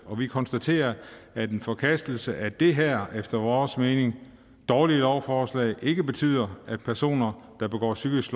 og vi konstaterer at en forkastelse af det her efter vores mening dårlige lovforslag ikke betyder at personer der begår psykisk